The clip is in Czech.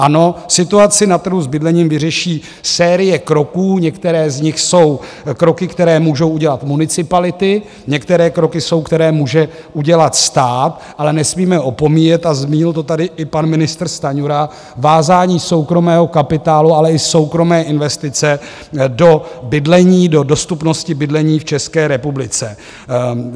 Ano, situaci na trhu s bydlením vyřeší série kroků, některé z nich jsou kroky, které můžou udělat municipality, některé kroky jsou, které může udělat stát, ale nesmíme opomíjet, a zmínil to tady i pan ministr Stanjura, vázání soukromého kapitálu, ale i soukromé investice do bydlení, do dostupnosti bydlení v České republice.